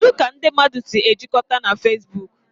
Kedu ka ndị mmadụ si ejikọta na Fezbuuku?